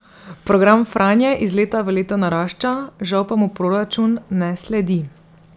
Program Franje iz leta v leto narašča, žal pa mu proračun ne sledi.